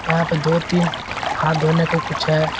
यहां पे दो तीन हाथ धोने का कुछ है।